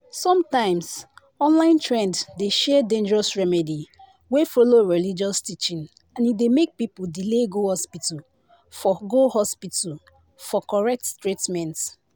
sometimes online trend dey share dangerous remedy wey follow religious teaching and e dey make people delay go hospital for go hospital for correct treatment